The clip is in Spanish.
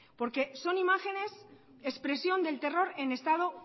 porque son imágenes expresión del terror en estado